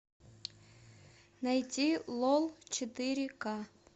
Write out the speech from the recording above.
найти лол четыре ка